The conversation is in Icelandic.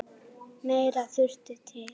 Meira þurfi til.